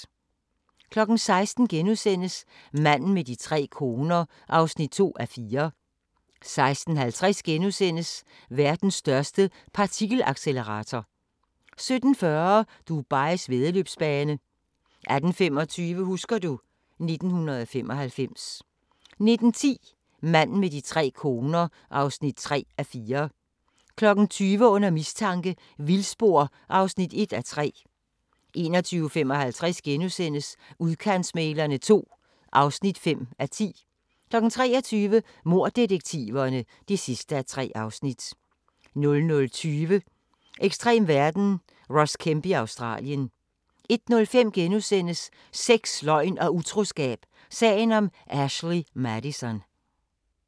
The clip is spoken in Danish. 16:00: Manden med de tre koner (2:4)* 16:50: Verdens største partikelaccelerator * 17:40: Dubais væddeløbsbane 18:25: Husker du ... 1995 19:10: Manden med de tre koner (3:4) 20:00: Under mistanke – vildspor (1:3) 21:55: Udkantsmæglerne II (5:10)* 23:00: Morddetektiverne (3:3) 00:20: Ekstrem verden – Ross Kemp i Australien 01:05: Sex, løgn og utroskab – sagen om Ashley Madison *